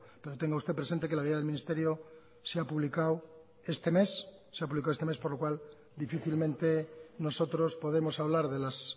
pero tenga usted presente que la guía del ministerio se ha publicado este mes por lo cual difícilmente nosotros podemos hablar de las